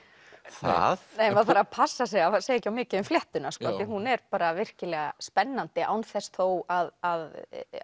það maður þarf að passa sig að segja ekki of mikið um fléttuna því hún er virkilega spennandi án þess þó að